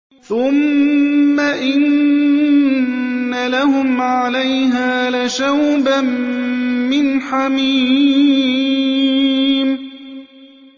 ثُمَّ إِنَّ لَهُمْ عَلَيْهَا لَشَوْبًا مِّنْ حَمِيمٍ